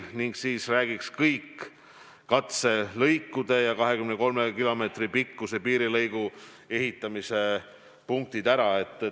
Ma pean silmas idapiiri väljaehitamist, katselõike, kokku 23 kilomeetri pikkuse piirilõigu ehitamist esimeses etapis.